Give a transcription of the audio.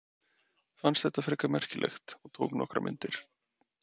Fannst þetta frekar merkilegt og tók nokkrar myndir.